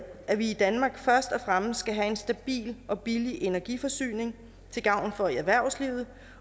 at vi i danmark først og fremmest skal have en stabil og billig energiforsyning til gavn for erhvervslivet